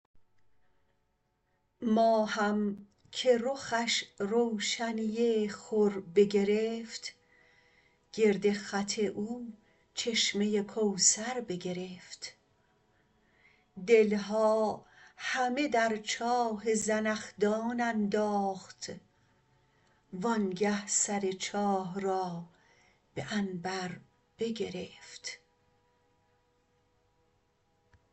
ماهم که رخش روشنی خور بگرفت گرد خط او چشمه کوثر بگرفت دل ها همه در چاه زنخدان انداخت وآنگه سر چاه را به عنبر بگرفت